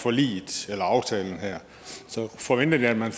forliget eller aftalen her forventede jeg at man